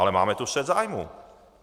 Ale máme tu střet zájmů.